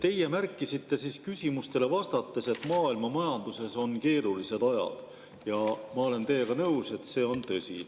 Teie märkisite küsimustele vastates, et maailmamajanduses on keeruline aeg, ja ma olen teiega nõus, see on tõsi.